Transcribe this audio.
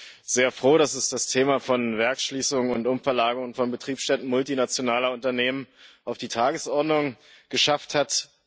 Ich bin sehr froh, dass es das Thema von Werksschließungen und Umverlagerungen von Betriebsstätten multinationaler Unternehmen auf die Tagesordnung geschafft hat.